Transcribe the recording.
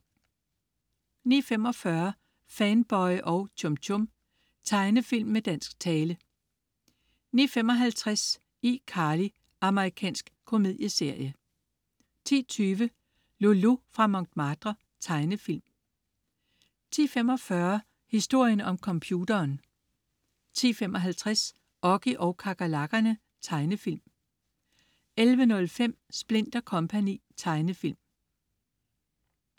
09.45 Fanboy og Chum Chum. Tegnefilm med dansk tale 09.55 iCarly. Amerikansk komedieserie 10.20 Loulou fra Montmartre. Tegnefilm 10.45 Historien om computeren 10.55 Oggy og kakerlakkerne. Tegnefilm 11.05 Splint & Co. Tegnefilm